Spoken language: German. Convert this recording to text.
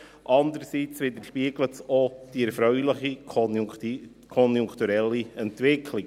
Andererseits widerspiegelt es auch die erfreuliche konjunkturelle Entwicklung.